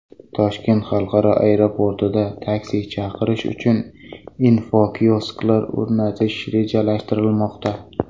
Toshkent xalqaro aeroportida taksi chaqirish uchun infokiosklar o‘rnatish rejalashtirilmoqda.